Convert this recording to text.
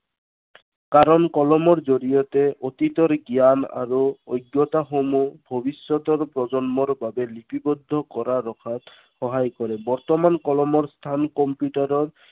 কাৰণ কলমৰ জৰিয়তে অতীতৰ জ্ঞান আৰু অজ্ঞতাসমূহ ভৱিষ্য়তৰ প্ৰজন্মৰ বাবে লিপিৱদ্ধ কৰা ৰখাত সহায় কৰে। বৰ্তমান কলমৰ স্থান কম্পিউটাৰৰ